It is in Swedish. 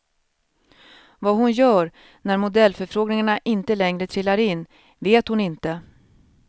Vad hon gör när modellförfrågningarna inte längre trillar in vet hon inte.